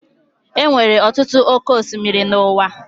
Enwere ọtụtụ oké osimiri n'uwa